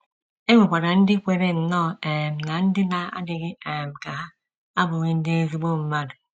E nwekwara ndị kweere nnọọ um na ndị na - adịghị um ka ha abụghị ndị ezigbo mmadụ.